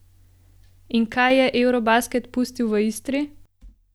In kaj je eurobasket pustil v Istri?